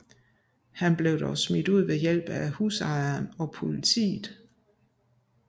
Han blev dog smidt ud ved hjælp af husejeren og politiet